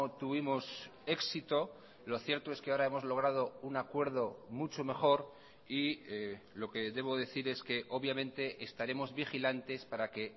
tuvimos éxito lo cierto es que ahora hemos logrado un acuerdo mucho mejor y lo que debo decir es que obviamente estaremos vigilantes para que